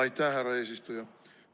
Aitäh, härra eesistuja!